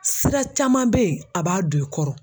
Sira caman bɛ ye a b'a don i kɔrɔ.